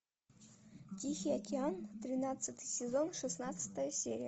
тихий океан тринадцатый сезон шестнадцатая серия